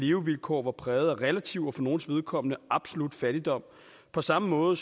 levevilkår var præget af relativ og for nogles vedkommende absolut fattigdom på samme måde